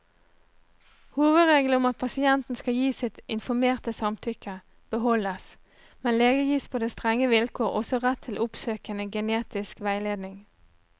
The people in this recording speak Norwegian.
Hovedregelen om at pasienten skal gi sitt informerte samtykke, beholdes, men lege gis på strenge vilkår også rett til oppsøkende genetisk veiledning.